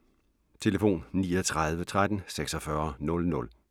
Telefon: 39 13 46 00